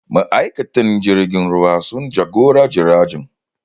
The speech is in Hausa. Ma'aikatan jirgin ruwa sun jagora jiragen